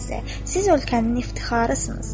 Siz ölkənin iftixarısnız.